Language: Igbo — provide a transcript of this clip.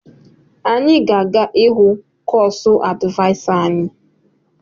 Anyị ga-aga ịhụ kosu advịasa anyi